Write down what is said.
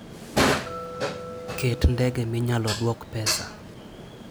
Ket ndege minyalo duok pesa.